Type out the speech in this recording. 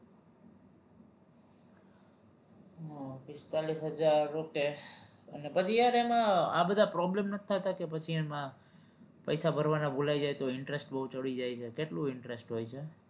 પિસ્તાલીસ હજાર okay અને પછી યાર એમાં આ બધા problem નથી થતા કે પછી એમાં પૈસા ભરવાના ભૂલાય જાય તો interest બવ ચડી જાય છે કેટલું interest હોય છે?